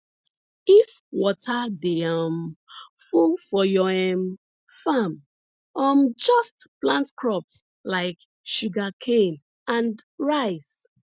if water dey um full for your um farm um just plant crops like sugarcane and rice